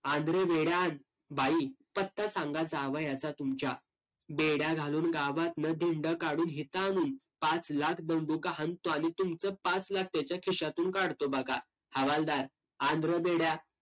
आण रे बेड्या आण. बाई, पत्ता सांगा जावयाचा तुमच्या. बेड्या घालून गावातनं धिंड काढून इथं आणून पाच लाख दंडुका हाणतो आणि तुमचं पाच लाख त्याच्या खिशातून काढतो बघा. हवालदार आण रं बेड्या.